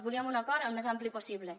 volíem un acord el més ampli possible